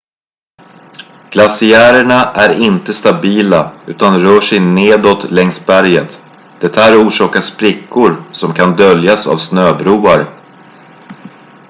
glaciärerna är inte stabila utan rör sig nedåt längs berget det här orsakar sprickor som kan döljas av snöbroar